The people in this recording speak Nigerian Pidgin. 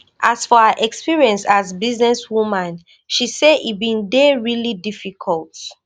as for her experience as businesswoman she say e bin dey really difficult